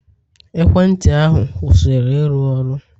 Ekwentị ahu, kwụsịrị ịrụ ọrụ.